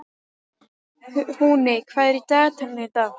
Húni, hvað er á dagatalinu í dag?